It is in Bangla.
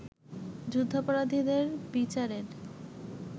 যুদ্ধাপরাধীদের বিচারের